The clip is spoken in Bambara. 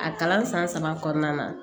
A kalan san saba kɔnɔna na